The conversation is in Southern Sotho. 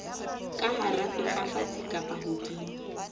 ka hara sefafatsi kapa hodima